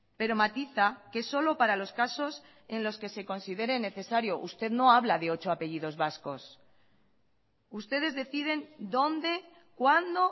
pero matiza que es solo para los casos en los que se considere necesario usted no habla de ocho apellidos vascos ustedes deciden dónde cuándo